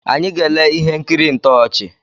Anyị ga-ele ihe nkiri ntọchị